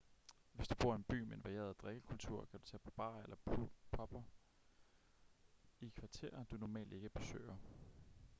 hvis du bor i en by med en varieret drikkekultur kan du tage på barer eller pubber i kvarterer du normalt ikke besøger